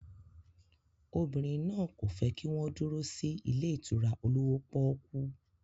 Obìnrin náà kò fẹ́ kí wọ́n dúró sí ilé ìtura olówó pọ́ọ́kú.